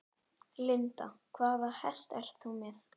Linda: Hvaða hest ert þú með?